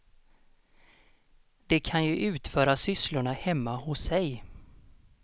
De kan ju utföra sysslorna hemma hos sig.